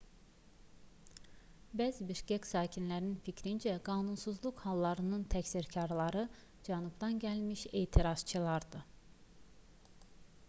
bəzi bişkek sakinlərinin fikrincə qanunsuzluq hallarının təqsirkarları cənubdan gəlmiş etirazçılardır